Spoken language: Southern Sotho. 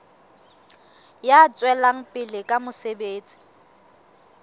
ya tswelang pele ka mosebetsi